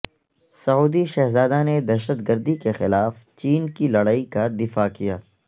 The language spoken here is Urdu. سعودی شہزادہ نے دہشت گردی کے خلاف چین کی لڑائی کا دفاع کیا